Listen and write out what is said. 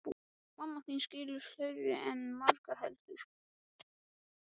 Mamma þín skilur fleira en margur heldur.